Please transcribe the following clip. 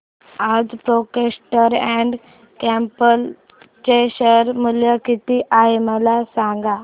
आज Procter and Gamble चे share मूल्य किती आहे मला सांगा